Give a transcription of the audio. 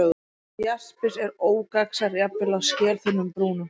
Jaspis er ógagnsær, jafnvel á skelþunnum brúnum.